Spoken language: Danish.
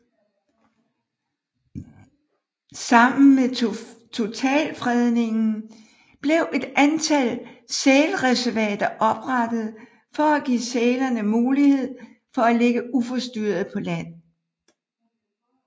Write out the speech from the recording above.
Sammen med totalfredningen blev et antal sælreservater oprettet for at give sælerne mulighed for at ligge uforstyrret på land